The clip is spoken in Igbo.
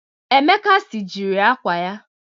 Emeka sijiri akwa ya.